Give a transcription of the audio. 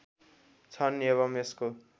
छन् एवम् यसको